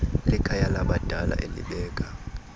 likhaya labadala elibeka